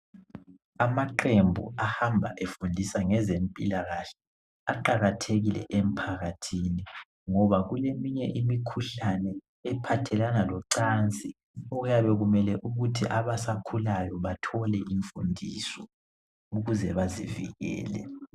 Amaqembu ahamba efundisa ngezempilakahle aqakathekile emphakathini ngoba kuleminye imikhuhlane ephathelana locansi okuyabe kumele ukuthi abasakhulayo bathole imfundiso ukuze bazivikele.